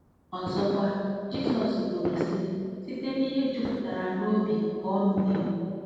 Ọzọkwa, Jizọs kwuru, sị: “ Site n’ihe jupụtara n’obi ka ọnụ na-ekwu .”